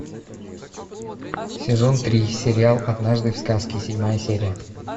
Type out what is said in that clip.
сезон три сериал однажды в сказке седьмая серия